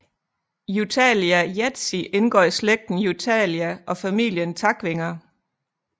Euthalia leechi indgår i slægten Euthalia og familien takvinger